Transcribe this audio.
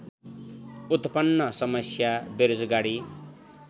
उत्पन्न समस्या बेरोजगारी